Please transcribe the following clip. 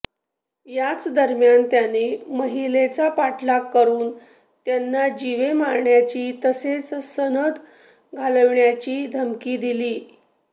याचदरम्यान त्याने महिलेचा पाठलाग करून त्यांना जीवे मारण्याची तसेच सनद घालविण्याची धमकी दिली